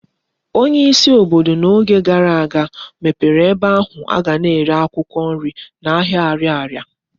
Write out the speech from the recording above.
Onye isi obodo na Oge gara aga mepere ebe ohu aga na ere akwukwo nri na ahia Ariaria